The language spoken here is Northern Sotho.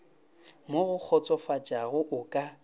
mo go kgotsofatšago o ka